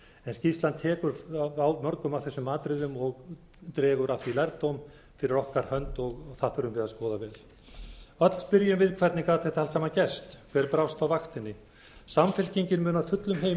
en skýrslan tekur á mörgum af þessum atriðum og dregur af því lærdóm fyrir okkar hönd og það þurfum við að skoða vel öll spyrjum við hvernig gat þetta allt saman gerst hver brást á vaktinni samfylkingin mun af fullum